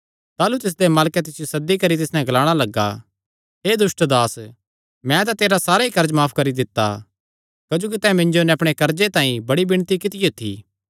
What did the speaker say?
ताह़लू तिसदे मालकैं तिसियो सद्दी करी तिस नैं ग्लाणा लग्गा हे दुष्ट दास मैं तां तेरा सारा ई कर्ज माफ करी दित्ता क्जोकि तैं मिन्जो नैं अपणे कर्जे तांई बड़ी विणती कित्तियो थी